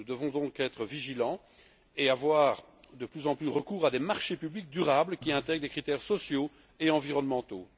Nous devons donc être vigilants et avoir de plus en plus recours à des marchés publics durables qui intègrent des critères sociaux et environnementaux.